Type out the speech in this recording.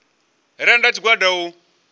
re nnda ha tshigwada u